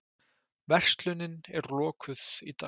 Verslunin er lokuð í dag